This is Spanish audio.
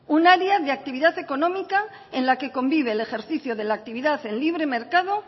un área de actividad económica en la que convive el ejercicio de la actividad de libre mercado